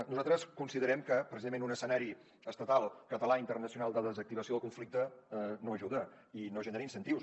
nosaltres considerem que precisament un escenari estatal català internacional de desactivació del conflicte no ajuda i no genera incentius